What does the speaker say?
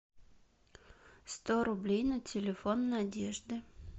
сто рублей на телефон надежды